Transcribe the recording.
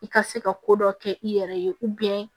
I ka se ka ko dɔ kɛ i yɛrɛ ye